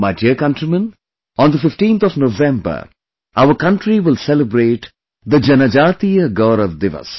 My dear countrymen, on the 15th of November, our country will celebrate the Janjateeya Gaurav Diwas